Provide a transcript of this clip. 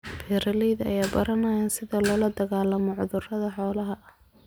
Beeralayda ayaa baranaya sida loola dagaalamo cudurrada xoolaha.